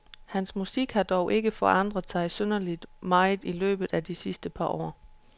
Hans musik har dog ikke forandret sig synderlig meget i løbet af de sidste par år.